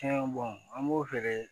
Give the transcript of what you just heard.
Caman bɔn an b'o feere